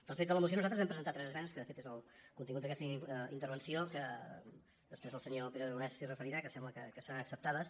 respecte a la moció nosaltres vam presentar tres esmenes que de fet és el contingut d’aquesta intervenció que després el senyor pere aragonès s’hi referirà que sembla que seran acceptades